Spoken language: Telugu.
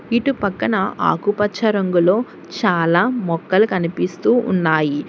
ఇటు పక్కన ఆకుపచ్చ రంగులో చాలా మొక్కలు కనిపిస్తూ ఉన్నాయి.